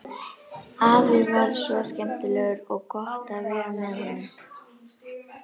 Afi var svo skemmtilegur og gott að vera með honum.